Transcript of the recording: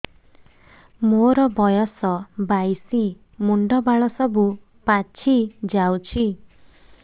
ମୋର ବୟସ ବାଇଶି ମୁଣ୍ଡ ବାଳ ସବୁ ପାଛି ଯାଉଛି